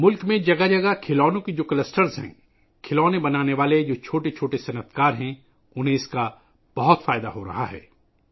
ملک میں ہر جگہ کھلونوں کے جھرمٹ ہیں، چھوٹے کاروباری جو کھلونے بناتے ہیں، انہیں اس سے کافی فائدہ ہو رہا ہے